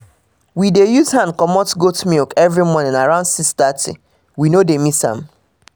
we dey use hand comot goat milk every morning around 6:30 we no dey miss am